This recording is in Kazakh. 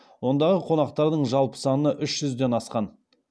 ондағы қонақтардың жалпы саны үш жүзден асқан